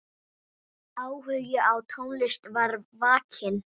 Áhugi á tónlist var vakinn.